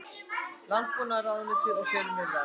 Landbúnaðarráðuneytinu og fjölmiðlum.